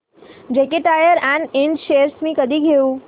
JK tyre and Ind shares मी कधी घेऊ